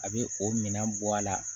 A bɛ o minɛn bɔ a la